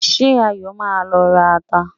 Ṣé Ayọ̀ yóò lọ ra ata?